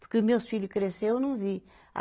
Porque meus filho crescer eu não vi.